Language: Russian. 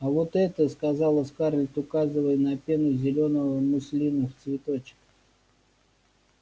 а вот это сказала скарлетт указывая на пену зелёного муслина в цветочек